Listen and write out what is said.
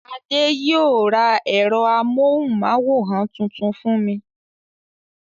Adé yóò ra ẹ̀rọ amóhùmáwòhán tuntun fún mi.